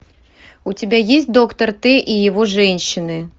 у тебя есть доктор т и его женщины